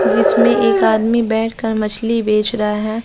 इसमें एक आदमी बैठकर मछली बेच रहा है।